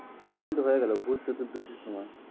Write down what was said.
Halloween তো হয়ে গেলো ভুত চতুর্দশীর সময়।